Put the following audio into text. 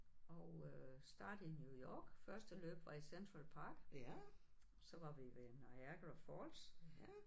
Og øh startede i New York første løb var i Central Park. Så var vi ved Niagara Falls